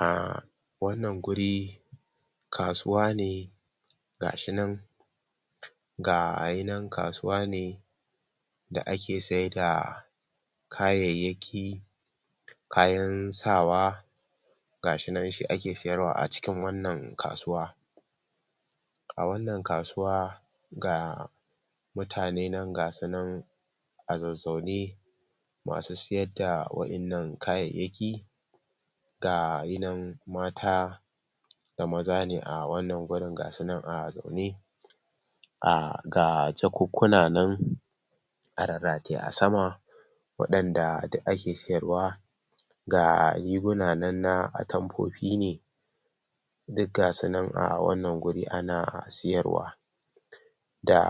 Um Wannan guri kasuwa ne ga shi nan ga yi nan kasuwa ne da ake sai da kayayyaki, kayan sawa, ga shi nan shi ake siyarwa a cikin wannan kasuwa. A wannan kasuwa ga mutane nan ga su nan a zazzaune masu siyar da wa'innan kayayyaki ga yi nan mata da maza ne a wannan wurin ga sunan a zaune. Um Ga jakukkuna nan a rarrataye a sama waɗanda duk ake siyarwa, ga rigunanan na atamfofi ne duk ga su nan a wannan guri ana siyarwa da